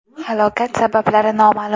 Halokat sabablari noma’lum.